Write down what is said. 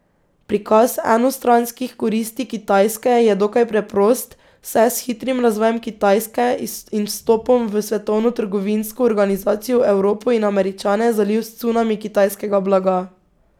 Prikaz enostranskih koristi Kitajske je dokaj preprost, saj je s hitrim razvojem Kitajske in vstopom v Svetovno trgovinsko organizacijo Evropo in Američane zalil cunami kitajskega blaga.